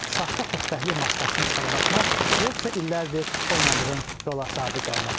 Saxta xoşbəxtlik maskasını çıxarıb atmaq yoxsa illərdir oynadığın rola sadiq qalmaq.